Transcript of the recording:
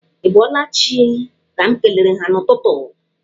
Ị bọọla chi' ka m kelere ha n'ụtụtụ.